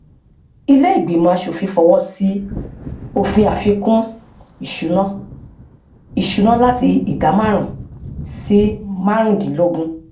ilé ìgbìmọ aṣòfin fọwọsí òfin àfikún ìṣúná ìṣúná láti ìdá márùn sí márùndínlógún